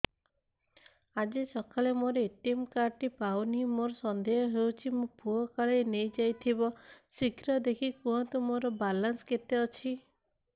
ଆଜି ସକାଳେ ମୋର ଏ.ଟି.ଏମ୍ କାର୍ଡ ଟି ପାଉନି ମୋର ସନ୍ଦେହ ହଉଚି ମୋ ପୁଅ କାଳେ ନେଇଯାଇଥିବ ଶୀଘ୍ର ଦେଖି କୁହନ୍ତୁ ମୋର ବାଲାନ୍ସ କେତେ ଅଛି